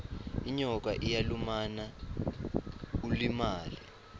inyoka iyalumana ulimale